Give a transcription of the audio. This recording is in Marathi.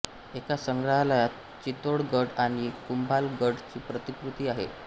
एका संग्रहालयात चितोड गढ आणि कुंभाल गढ ची प्रतिकृती आहे